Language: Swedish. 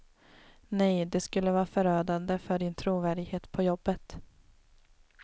Nej, det skulle vara förödande för din trovärdighet på jobbet.